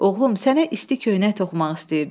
Oğlum, sənə isti köynək toxumaq istəyirdim.